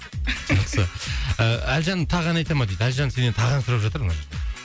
жақсы ы әлжан тағы ән айта ма дейді әлжан сенен тағы ән сұрап жатыр мына жерде